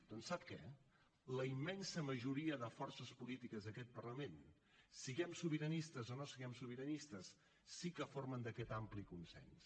doncs sap què la immensa majoria de forces polítiques d’aquest parlament siguem sobiranistes o no siguem sobiranistes sí que formen part d’aquest ampli consens